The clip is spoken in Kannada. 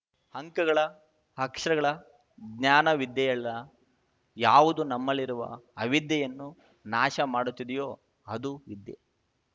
ಅಂಕಗಳ ಅಕ್ಷರಗಳ ಜ್ಞಾನ ವಿದ್ಯೆಯಲ್ಲ ಯಾವುದು ನಮ್ಮಲ್ಲಿರುವ ಅವಿಧ್ಯೆಯನ್ನು ನಾಶ ಮಾಡುತ್ತದೆಯೋ ಅದು ವಿದ್ಯೆ